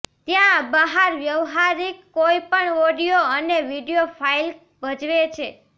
ત્યાં બહાર વ્યવહારીક કોઈપણ ઑડિઓ અને વિડિઓ ફાઇલ ભજવે છે